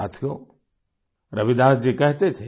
साथियो रविदास जी कहते थे